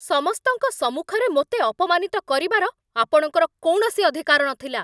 ସମସ୍ତଙ୍କ ସମ୍ମୁଖରେ ମୋତେ ଅପମାନିତ କରିବାର ଆପଣଙ୍କର କୌଣସି ଅଧିକାର ନଥିଲା।